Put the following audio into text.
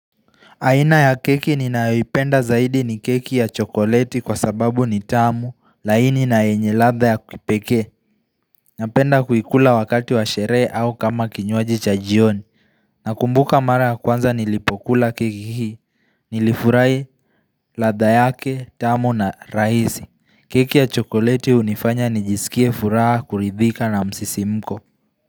Aina ya keki ninayoipenda zaidi ni keki ya chokoleti kwa sababu ni tamu, laini na yenye ladha ya kipekee. Napenda kuikula wakati wa sherehe au kama kinywaji cha jioni. Nakumbuka mara ya kwanza nilipokula keki hii, nilifurahi ladha yake, tamu na rahisi. Keki ya chokoleti hunifanya nijisikie furaha, kuridhika na msisimuko.